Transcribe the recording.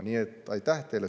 Aitäh teile!